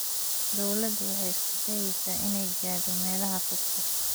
Dawladdu waxay isku dayaysaa inay gaadho meelaha fogfog.